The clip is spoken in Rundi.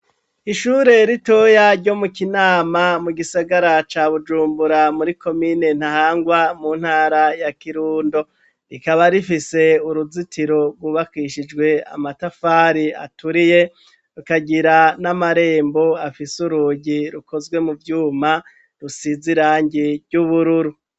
Ishure ritoya ryomu Kinama mu gisagara ca Bujumbura muri komine ntahangwa mu ntara ya Kirundo, rikaba rifise uruzitiro rwubakishijwe amatafari aturiye rikagira n'amarembo afise urugi rukozwe mu vyuma rusize irangi ry'ubururu.